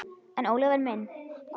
En Ólafur minn.